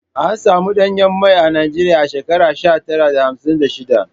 An samun danyen mai a Najeriya a shekara sha tara da hamsin da shiɗa.